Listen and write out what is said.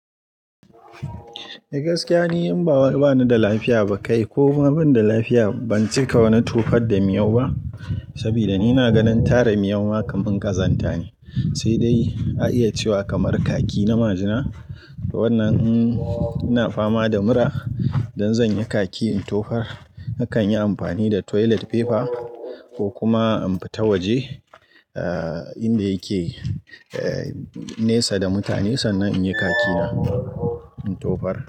Ni gaskiya, ni in bawa bani da lafiya ba kai ko ma bin da lafiya, ban cika wani tofar da miyau ba. Saboda ni na ganin tara miyu makaman ƙazanta ne, sai dai a iya cewa kamar kaki na majina. Waɗannan ina fama da mura. Dan zanyi kaki in tofar nakan yi amfani da toilet paper ko kuma in fita waje, eh, inda yake, eh, nesa da mutane sannan in yi kaki na in tofar.